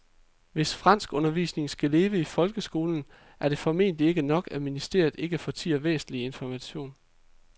Hvis franskundervisningen skal leve i folkeskolen er det formentlig ikke nok, at ministeriet ikke fortier væsentlig information.